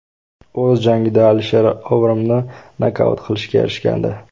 U o‘z jangida Alister Overimni nokaut qilishga erishgandi.